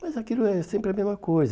Mas aquilo é sempre a mesma coisa.